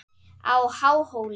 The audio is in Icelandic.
á Háhóli.